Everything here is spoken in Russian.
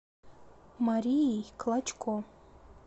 марией клочко